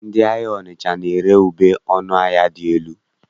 Ndị ahịa Ọnịcha na-ere ube ọnụ ahịa dị elu.